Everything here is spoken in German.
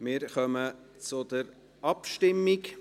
Wir kommen zur Abstimmung.